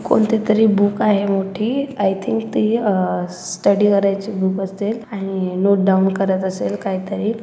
कोनतेतरी book आहे मोठी I think ते अह स्टडी करायचे बूक असतेत आणि नोट डाउन करायचं असेल काहीतरी--